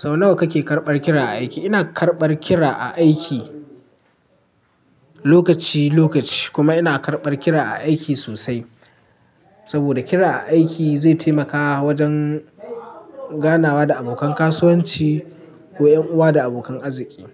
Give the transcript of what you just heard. Sau nawa kake karɓar kira a aiki? Ina karɓar kira a aiki lokaci lokaci kuma ina karɓar kira a aiki sosai. Saboda kira aiki zai taimaka wajen ganawa da abokan kasuwanci ko ƴan uwa da abokan arziki.